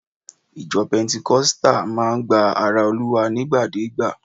Ìjọ pentikosita máa ń gba ara Olúwa nigbadeegba